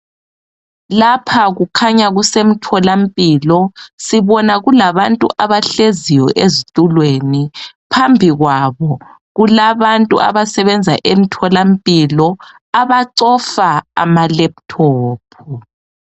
lapha kukhaya kusemtholampilo sibona kulabantu abahleziyo ezitulweni phambi kwabo kulabantu abasebenza emtholampilo abacofa ama laptop